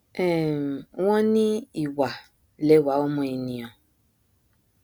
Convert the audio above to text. um wọn ní ìwà lẹwà ọmọ ènìà